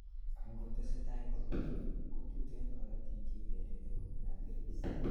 angotesetai korutu, ko tuten korotik cheitendene kobun arteries